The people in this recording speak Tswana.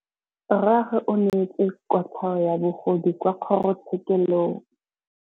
Rragwe o neetswe kotlhaô ya bogodu kwa kgoro tshêkêlông.